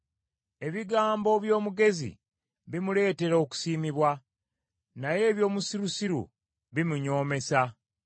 Ebigambo by’omugezi bimuleetera okusiimibwa, naye eby’omusirusiru bimunyoomesa.